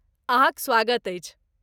अहाँक स्वागत अछि ।